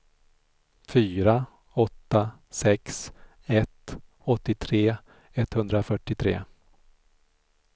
fyra åtta sex ett åttiotre etthundrafyrtiotre